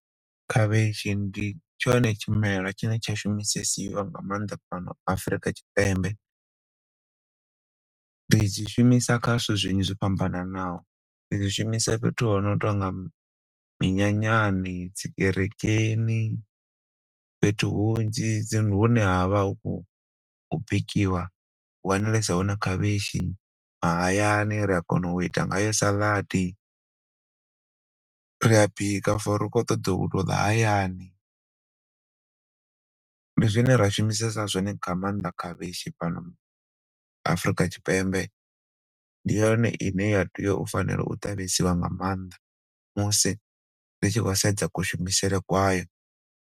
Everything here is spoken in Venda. Khavhishi ndi tshone tshimela tshine tsha shumesiwa nga maanḓa fhano Afurika Tshipembe. Ri dzi zwishumisa kha zwithu zwinzhi zwo fhambananaho, ri zwi shumisa fhethu hono tonga minyanyani, dzi kerekeni fhethu hunzhi hune havha hu khou bikiwa hu wanalesa hone khavhishi, mahayani ri a kona u ita ngayo salad, ri a bika for ara ri khou ṱoḓo u ḽa hayani. Ndi zwine ra shumisesa zwone nga mannḓa khavhishi fhano Afurika Tshipembe. Ndi yone ine ya tea u fanela u ṱavhisiwa nga maanḓa musi ri tshi khou sedza ku shumisele kwayo.